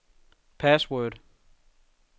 password